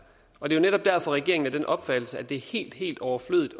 og det er netop derfor regeringen er af den opfattelse at det er helt helt overflødigt